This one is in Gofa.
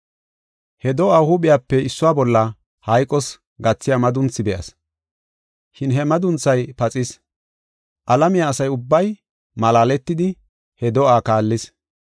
He do7aa huuphiyape issuwa bolla hayqos gathiya madunthi be7as, shin he madunthay paxis. Alamiya asa ubbay malaaletidi he do7aa kaallis.